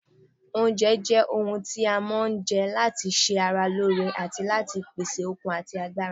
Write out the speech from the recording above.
Oúnjẹ ohun tí a máa ń jẹ́ láti ṣe ara wa lóore àti láti pèsè okun ati agbára